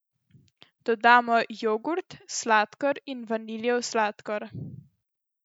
Dodamo jogurt, sladkor in vaniljev sladkor.